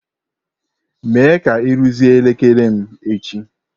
Mee ka ị rụzie elekere m echi!